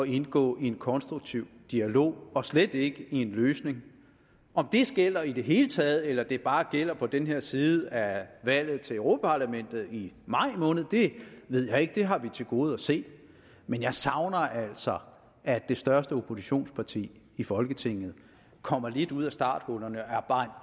indgå i en konstruktiv dialog og slet ikke i en løsning om det gælder i det hele taget eller det bare gælder på den her side af valget til europa parlamentet i maj måned ved jeg ikke det har vi til gode at se men jeg savner altså at det største oppositionsparti i folketinget kommer lidt ud af starthullerne og er bare